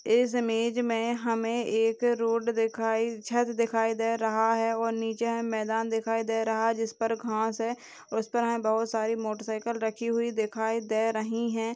इस इमेज मे हमे एक रोड दिखाई छत दिखाई दे रहा है और नीचे है मैदान दिखाई दे रहा है जिस पर घाँस है उस पर हमे बहोत सारी मोटरसाइकिल रखी हुई दिखाई दे रही है।